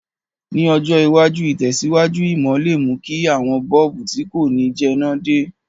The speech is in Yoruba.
Ní ọjọ̀ iwájú, ìtẹ̀síwájú ìmò le mú ki àwon bulb ti ko ni jẹná de